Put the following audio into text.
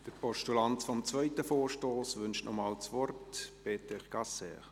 Der Postulant des zweiten Vorstosses wünscht noch einmal das Wort, Peter Gasser.